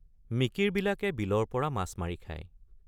মিকিৰবিলাকে বিলৰপৰা মাছ মাৰি খায় ।